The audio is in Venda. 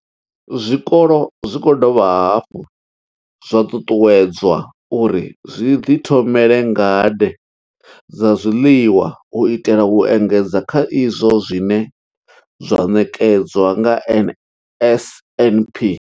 Zwikolo zwi khou dovha hafhu zwa ṱuṱuwedzwa uri zwi ḓi thomele ngade dza zwiḽiwa u itela u engedza kha izwo zwine zwa ṋetshedzwa nga NSNP.